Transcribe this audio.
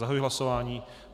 Zahajuji hlasování.